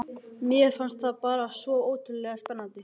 Mér fannst þetta bara svo ótrúlega spennandi.